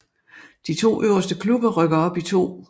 De to øverste klubber rykker op i 2